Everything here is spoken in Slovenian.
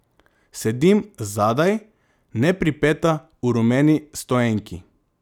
Sedim zadaj, nepripeta, v rumeni stoenki.